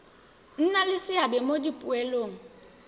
nna le seabe mo dipoelong